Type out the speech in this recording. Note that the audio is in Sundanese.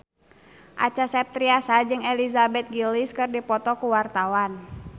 Acha Septriasa jeung Elizabeth Gillies keur dipoto ku wartawan